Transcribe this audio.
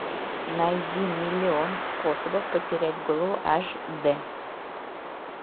найди миллион способов потерять голову аш д